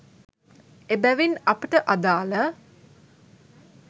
එබැවින් අපට අදාළ